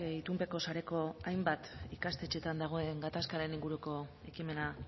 itunpeko sareko hainbat ikastetxeetan dagoen gatazkaren inguruko ekimena